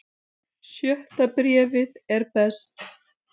Sjötta bréfið er best.